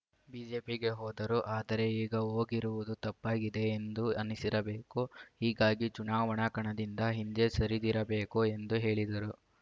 ಬಿಜೆಪಿಗೆ ಹೋದರು ಆದರೆ ಈಗ ಹೋಗಿರುವುದು ತಪ್ಪಾಗಿದೆ ಎಂದು ಅನಿಸಿರಬೇಕು ಹೀಗಾಗಿ ಚುನಾವಣಾ ಕಣದಿಂದ ಹಿಂದೆ ಸರಿದಿರಬೇಕು ಎಂದು ಹೇಳಿದರು